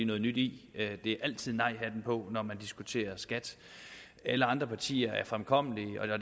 noget nyt i det er altid med nejhatten på når man diskuterer skat alle andre partier er fremkommelige